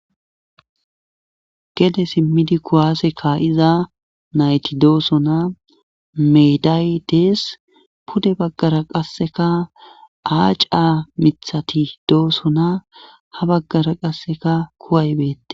gede simmidi kuwaase ka'iza nayti doosona meday dees pude baggara qasseka aaca mithati doosona ha baggara qasseka kuway beettes